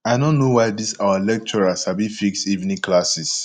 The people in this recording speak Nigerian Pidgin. i no know why dis our lecturer sabi fix evening classes